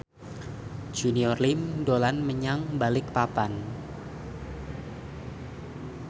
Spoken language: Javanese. Junior Liem dolan menyang Balikpapan